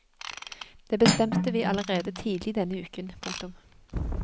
Det bestemte vi allerede tidlig denne uken. punktum